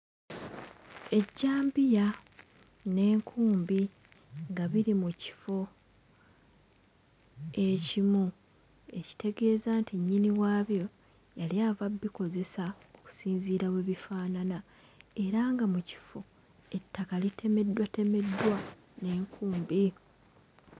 Ejjambiya n'enkumbi nga biri mu kifo ekimu, ekitegeeza nti nnyini waabyo yali ava bbikozesa okusinziira we bifaanana era nga mu kifo ettaka litemeddwatemeddwa n'enkumbi.